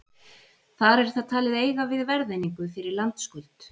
Þar er það talið eiga við verðeiningu fyrir landskuld.